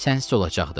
Sənsiz olacaqdı.